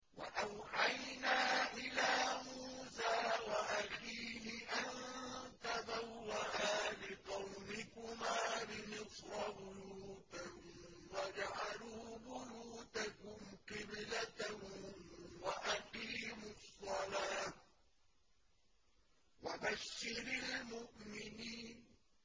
وَأَوْحَيْنَا إِلَىٰ مُوسَىٰ وَأَخِيهِ أَن تَبَوَّآ لِقَوْمِكُمَا بِمِصْرَ بُيُوتًا وَاجْعَلُوا بُيُوتَكُمْ قِبْلَةً وَأَقِيمُوا الصَّلَاةَ ۗ وَبَشِّرِ الْمُؤْمِنِينَ